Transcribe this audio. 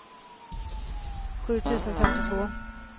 sju tusen femtiotvå